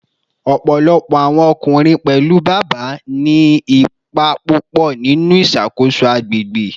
Ọpọlọpọ awọn ọkunrin, pẹlu Baba, ni ipa pupọ ninu iṣakoso agbegbe